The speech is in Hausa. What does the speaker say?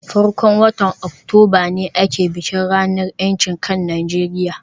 farkon watan Oktoba ne ake bikin ranar ‘yancin kan Najeriya